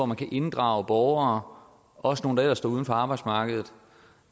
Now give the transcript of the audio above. man kan inddrage borgere også nogle der ellers står uden for arbejdsmarkedet